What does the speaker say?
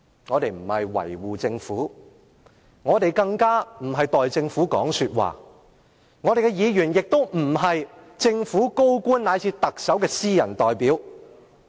我們不是要維護政府，也不是要代政府發言，立法會議員更不是政府高官，乃至特首的私人代表。